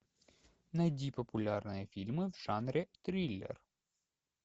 найди популярные фильмы в жанре триллер